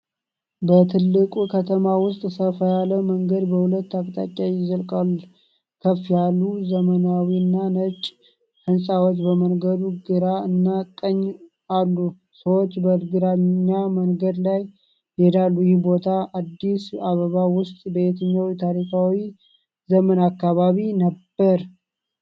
በትልቅ ከተማ ውስጥ ሰፋ ያለ መንገድ በሁለት አቅጣጫዎች ይዘልቃል። ከፍ ያሉ ዘመናዊና ነጭ ሕንፃዎች በመንገዱ ግራ እና ቀኝ አሉ፣ ሰዎች በየእግረኛ መንገዶች ላይ ይሄዳሉ። ይህ ቦታ አዲስ አበባ ውስጥ በየትኛው ታሪካዊ ዘመን አካባቢ ነበር?